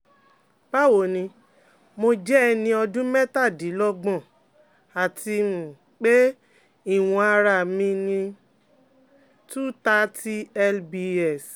Báwo ni, mo jẹ́ ẹni ọdún mẹ́tàdínlọ́gbọ̀n, àti um pé ìwọ̀n ara mi ni um 230lbs